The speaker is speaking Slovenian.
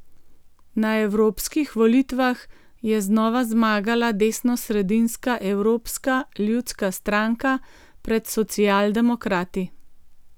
Na evropskih volitvah je znova zmagala desnosredinska Evropska ljudska stranka pred socialdemokrati.